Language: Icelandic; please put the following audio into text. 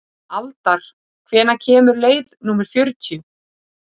Aldar, hvenær kemur leið númer fjörutíu?